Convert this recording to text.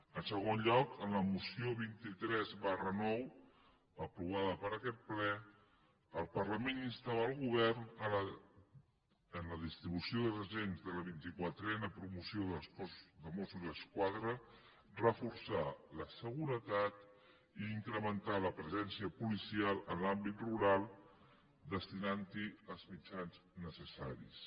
en segon lloc en la moció vint tres ix aprovada per aquest ple el parlament instava el govern en la distribució dels agents de la vint i quatrena promoció del cos de mossos d’esquadra a reforçar la seguretat i incrementar la presència policial en l’àmbit rural destinant hi els mitjans necessaris